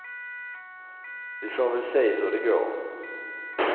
Vi får väl se hur det går.